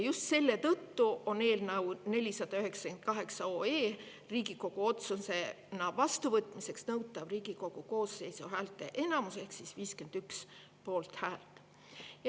Just selle tõttu on eelnõu 498 Riigikogu otsusena vastuvõtmiseks nõutav Riigikogu koosseisu häälteenamus ehk 51 poolthäält.